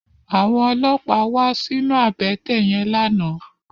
Àwòn ólópá wà sinú àbètè yèn làná